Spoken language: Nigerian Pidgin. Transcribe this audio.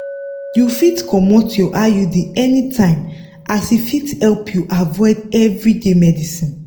you fit comot your iud anytime as e fit help you avoid everyday medicines.